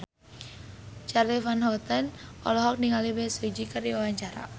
Charly Van Houten olohok ningali Bae Su Ji keur diwawancara